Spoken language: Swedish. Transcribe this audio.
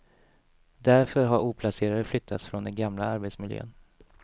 Därför har oplacerade flyttats från den gamla arbetsmiljön.